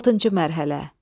Altıncı mərhələ.